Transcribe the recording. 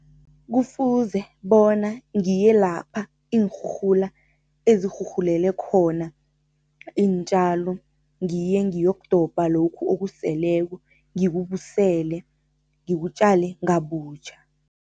Kufuze bona ngiye lapha iinrhurhula ezirhurhulele khona iintjalo ngiye ngiyokudobha lokhu okuseleko ngikubusele, ngikutjale ngabutjha.